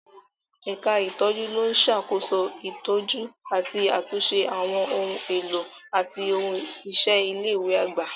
Ẹ̀ka ìtọ́jú ló ń ṣàkóso ìtọ́jú àti àtúnṣe àwọn ohun èlò àti ohun iṣẹ́ ilé ìwé àgbà.